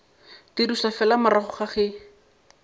dirišwa fela morago ga ge